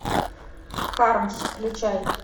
хармс включай